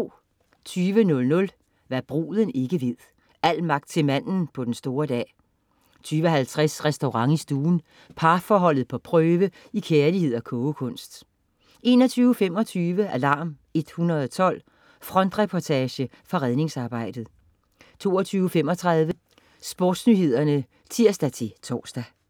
20.00 Hva' bruden ikke ved. Al magt til manden på den store dag 20.50 Restaurant i stuen. Parforholdet på prøve i kærlighed og kogekunst 21.25 Alarm 112. Frontreportage fra redningsarbejdet 22.35 SportsNyhederne (tirs-tors)